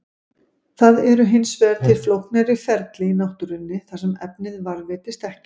Það eru hins vegar til flóknari ferli í náttúrunni þar sem efnið varðveitist ekki.